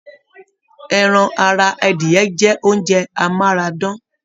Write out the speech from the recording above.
Ẹran ará adìyẹ̀ jẹ oúnjẹ amárádán.